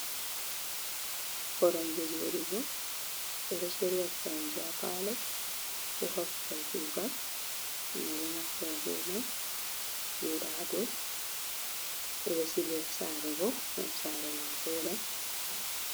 "Koromje" joɗugo ɓeɗo shirya koromje ha palo ko ha babal kugal himɓe ɗo naftira ɓe mai joɗa ha dou ɓeɗo sila ha saare bo ngam saare ma voɗa.